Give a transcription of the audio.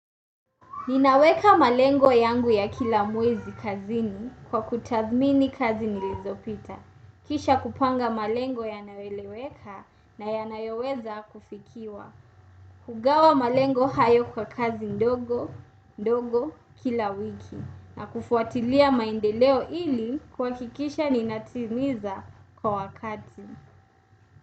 Ninaweka malengo yangu ya kila mwezi kazini kwa kutathmini kazi nilizopita. Kisha kupanga malengo yanayoeleweka na yanayoweza kufikiwa. Kugawa malengo hayo kwa kazi ndogo, ndogo, kila wiki. Na kufuatilia maendeleo ili kuhakikisha ninatimiza kwa wakati.